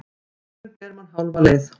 Hugurinn ber mann hálfa leið.